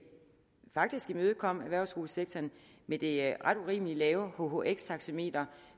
faktisk imødekom erhvervsskolesektoren med det ret urimelig lave hhx taxameter